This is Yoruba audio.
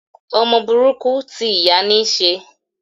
Ọmọ burúkú ti ìyá níí ṣe.